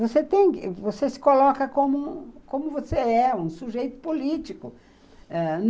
Você se coloca como você é, um sujeito político. Ãh